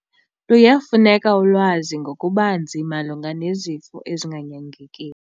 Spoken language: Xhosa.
Luyafuneka ulwazi ngokubanzi malunga nezifo ezinganyangekiyo.